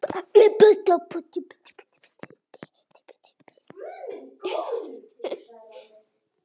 Býður við þér.